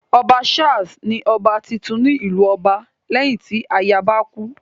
Ọba Charles ni ọba titun tí ìlú ọba, léyìn tí ayaba kú.